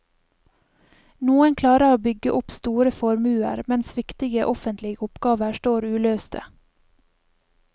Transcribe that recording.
Noen klarer å bygge seg opp store formuer, mens viktige offentlige oppgaver står uløste.